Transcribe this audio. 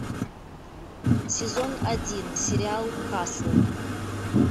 сезон один сериал касл